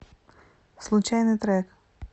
случайный трек